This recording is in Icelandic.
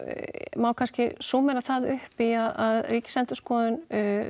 má kannski það upp í að Ríkisendurskoðun